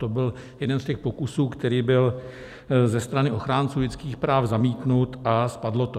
To byl jeden z těch pokusů, který byl ze strany ochránců lidských práv zamítnut, a spadlo to.